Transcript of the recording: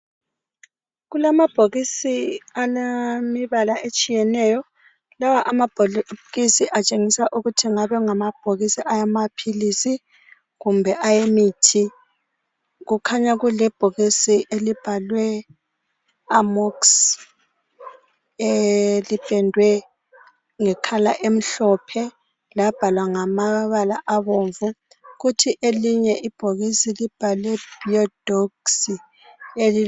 Kulamabhokisi elemibala etshiyeneyo .Lawa amabhokisi atshengisa ukuthi engabe engamabhokisi awamaphilisi kumbe ayemithi. Kukhanya kulebhokisi elibhalwe Amoxy elipendwe nge colour emhlophe labhalwa ngamabala abomvu .Kuthi elinye ibhokisi libhalwe Biodox.